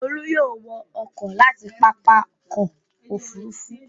Olú yóò wọ ọkọ̀ láti pápá ọkọ̀-òfurufú.